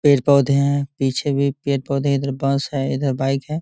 पेड़-पौधे है पीछे भी पेड़-पौधे है इधर बस है इधर बाइक है।